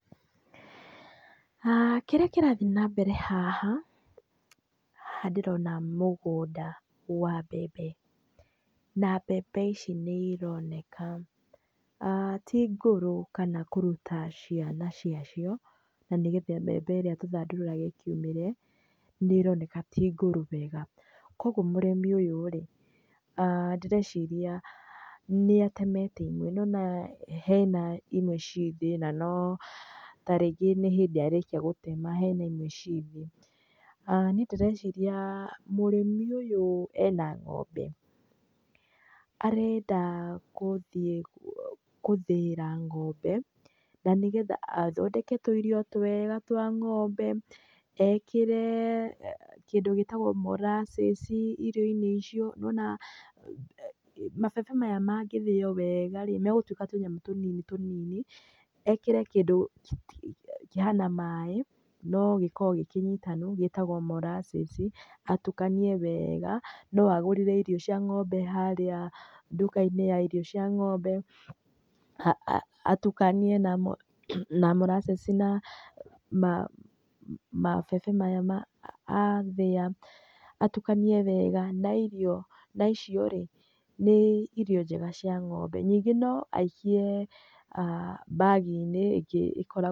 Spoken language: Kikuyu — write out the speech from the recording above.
Kĩrĩa kĩrathiĩ nambere haha, haha ndĩrona mũgũnda, wa mbembe. Na mbembe ici nĩironeka ti ngũrũ kana kũruta ciana ciacio. Na nĩgetha mbembe ĩrĩa tũthandũraga ĩkiumĩre, nĩroneka ti ngũrũ wega. Kuoguo mũrĩmi ũyũ-rĩ, ndĩreciria nĩatemete imwe, nĩwona hena imwe ciĩthĩ na no tarĩngĩ nĩ hĩndĩ arĩkia gũtema. Hena imwe ciĩ thĩ. Niĩ ndĩreciria mũrĩmi ũyũ ena ng'ombe arenda gũthiĩ gũthĩĩra ngombe na nĩgetha athondeke tũirio twega twa ng'ombe, ekĩre kĩndũ gĩtagũo moracĩci irio-inĩ icio nĩwona mabebe maya mangĩthĩo weega-rĩ, megũtuĩka tũnyamũ tũnini tũnini, ekĩre kĩndũ kĩhana maĩ no gĩkoragwo gĩkĩnyitanu, gĩtagwo maracĩci, atukanie weega. No agũrĩre irio cia ng'ombe harĩa nduka-inĩ ya irio cia ng'ombe, atukanie na moracĩci na mabebe maya athĩa. Atukanie wega na irio, na icio-rĩ nĩ irio njega cia ng'ombe. Ningĩ no aikie mbagi-inĩ ĩngĩ ĩkoragwo